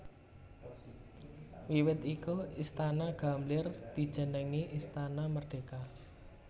Wiwit iku Istana Gambir dijenengi Istana Merdeka